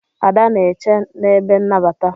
Ada na-eche n'ebe nnabata.